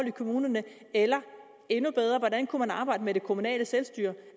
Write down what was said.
i kommunerne eller endnu bedre hvordan kunne man arbejde med det kommunale selvstyre